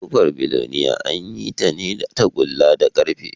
Ƙofar biloniya an yi ta ne da tagulla da ƙarfe